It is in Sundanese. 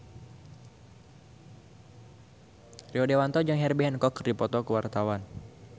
Rio Dewanto jeung Herbie Hancock keur dipoto ku wartawan